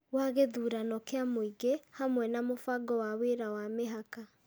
wa gĩthurano kĩa mũingĩ, hamwe na mũbango wa wĩra wa mĩhaka.